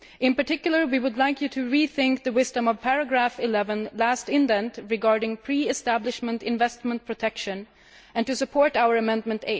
In particular we would like to rethink the wisdom of paragraph 11, last indent, regarding pre establishment investment protection and to request support for our Amendment